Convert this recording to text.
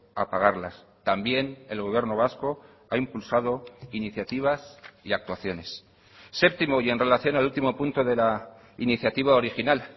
a pagarlas también el gobierno vasco ha impulsado iniciativas y actuaciones séptimo y en relación al último punto de la iniciativa original